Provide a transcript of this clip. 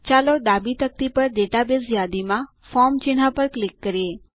ચાલો ડાબી તકતી પર ડેટાબેઝ યાદીમાં ફોર્મ ચિહ્ન પર ક્લિક કરીએ